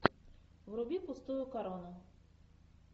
вруби пустую корону